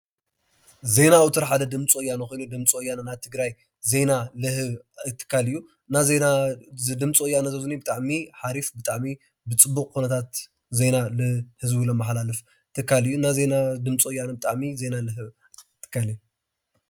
ዜና ቁፅሪ ሓደ ድምፂ ወያነ ኮይኑ ድምፂ ወያነና ትግራይ ዜና ንህብ ትካል እዩ ድምፅ ወያነትኢና ትግራይ ዜና እዩዝድምፅ ወያነ ህብ ትካል እዩ ዜና ድምፂ ያነዜና ድምፂ ወርንን